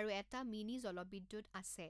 আৰু এটা মিনি জলবিদ্যুৎ আছে।